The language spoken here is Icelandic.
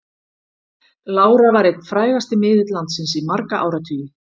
Lára var einn frægasti miðill landsins í marga áratugi.